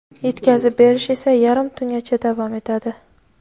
yetkazib berish esa yarim tungacha davom etadi.